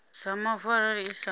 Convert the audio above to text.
dza mavu arali i sa